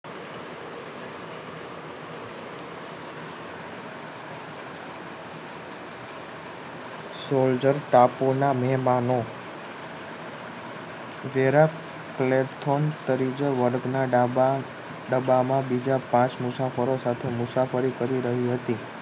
soldier તાપોના મહેમાનો જેરા platform તરીકે વર્ગના ડાબા ડબ્બા માં બીજા પાંચ મુસાફરો સાથે મુસાફરી કરી રહી હતી